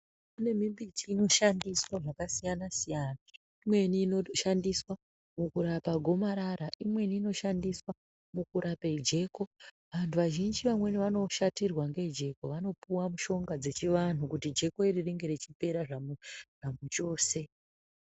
Imweni mbiti inoshandiswa zvakasiyana-siyana. Imweni inotoshandiswa mukurapa gomarara. Imweni inoshandiswa kurapa gomarara. Vantu vazhinji vamweni vanoshatirwa ngejeko vanopiwa mishonga dzechivantu, jeko iri ringe richipera zvamuchose.